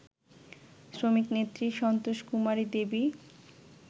শ্রমিকনেত্রী Santoshkumari Devi